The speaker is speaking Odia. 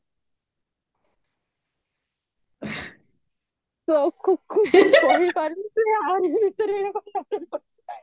ତୁ ଏ ୟାରି ଭିତରେ ଏଇ କଥା ବାର୍ତା କରୁଚୁ